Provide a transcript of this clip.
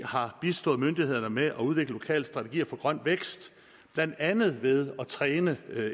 har bistået myndighederne med at udvikle lokale strategier for grøn vækst blandt andet ved at træne